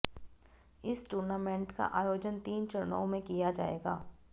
इस टूर्नामेंट का आयोजन तीन चरणों किया जाएगा